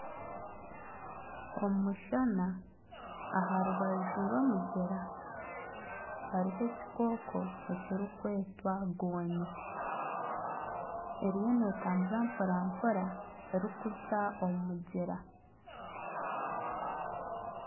Omushana aharubaju rw'omugyera hariho ekikooko ekirikwetwa gonya eriyo n'etambura mporampora erikuza omu mugyera.